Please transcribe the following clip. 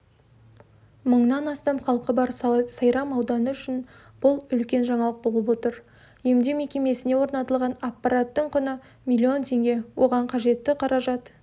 мыңнан астам халқы бар сайрам ауданы үшін бұл үлкен жаңалық болып отыр емдеу мекемесіне орнатылған аппараттың құны миллион теңге оған қажетті қаражат